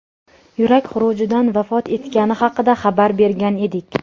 yurak xurujidan vafot etgani haqida xabar bergan edik.